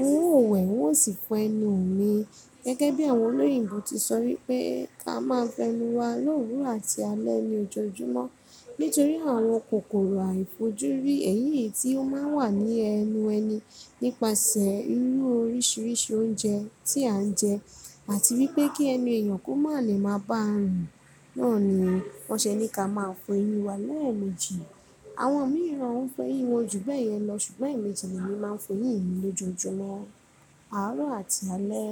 irú òǹwẹ̀ ó sì fọ ẹnu mi. Gẹ́gẹ́ bí àwọn olóyìnbo ti sọ wípé ká máa fọ ẹnu wa lówuro àti alẹ́ ní ojoojúmọ́ nítorí àwọn kòkòrò àìfojúrí èyí yìí tí ó máa ń wà ní ẹnu ẹni nípasẹ̀ irú oríṣiríṣi oúnjẹ tí à ń jẹ àti wípé kí ẹnu èèyàn kó má lè máa bá à rùn náà ni wọ́n ṣe ní ká máa fọ eyín wa lẹ́ẹ̀mejì. Àwọn mìíràn ń fọ eyín wọn jù bẹ́ẹ̀ yẹn lọ, ṣùgbọ́n èmi tẹ̀lé mi máa ń fọ eyín mi lójoojúmọ́ àárọ̀ àti alẹ́